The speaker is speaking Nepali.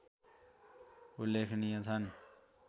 उल्लेखनीय छन्